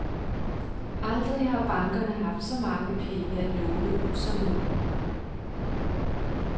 Aldrig har bankerne haft så mange penge at låne ud som nu.